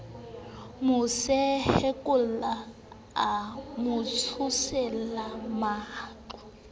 mo sehollake a motsholele maqa